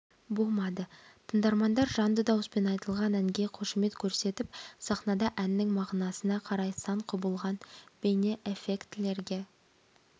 болмады тыңдармандар жанды дауыспен айтылған әнге қошемет көрсетіп сахнада әннің мағынасына қарай сан құбылған бейне эффектілерге